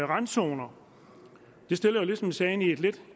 randzoner det stiller jo ligesom sagen i et lidt